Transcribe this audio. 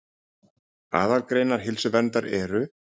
Aðalgreinar heilsuverndar eru